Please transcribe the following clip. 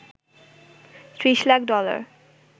৩০ lakh dollar